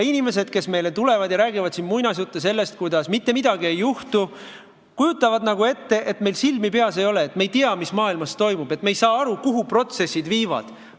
Inimesed, kes tulevad ja räägivad siin muinasjutte sellest, kuidas mitte midagi ei juhtu, kujutavad nagu ette, et meil silmi peas ei ole, et me ei tea, mis maailmas toimub, et me ei saa aru, kuhu protsessid viivad.